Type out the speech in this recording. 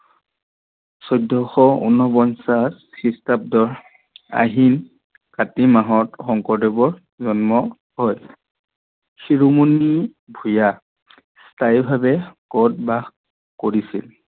চৈধ্যশ ঊণপঞ্চাছ খ্ৰীষ্টাব্দত আহিন-কাতি মাহত শংকৰদেৱৰ জন্ম হয়। শিৰুমণি ভূঞা স্থায়ীভাবে কত বাস কৰিছিল?